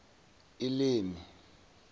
elimi